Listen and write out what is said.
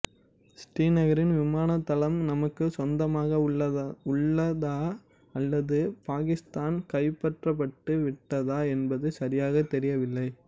ஸ்ரீநகரின் விமான தளம் நமக்கு சொந்தமாக உள்ளதா அல்லது பாகிஸ்தானால் கைப்பற்றப்பட்டு விட்டதா என்பதும் சரியாகத் தெரியவில்லை